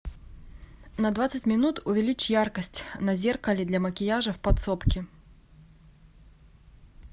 на двадцать минут увеличь яркость на зеркале для макияжа в подсобке